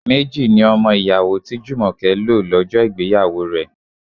Méjì ni ọmọ ìyàwó tí Jumoke lo lọ́jọ́ ìgbéyàwó rẹ.